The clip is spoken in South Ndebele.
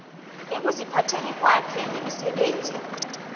ekuziphatheni kwakhe nemisebenzini